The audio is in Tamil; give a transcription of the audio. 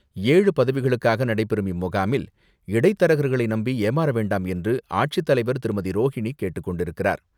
ஏழு பதவிகளுக்காக நடைபெறும் இம்முகாமில், இடைத்தரகர்களை நம்பி ஏமாற வேண்டாம் என்று, ஆட்சித்தலைவர் திருமதி.ரோஹினி கேட்டுக்கொண்டிருக்கிறார்.